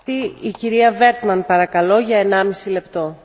Frau Präsidentin, liebe Kolleginnen und Kollegen!